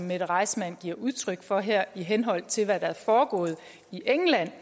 mette reissmann giver udtryk for her i henhold til hvad der er foregået i england